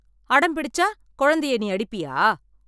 அடம் பிடிச்சா கொழந்தைய நீ அடிப்பியா?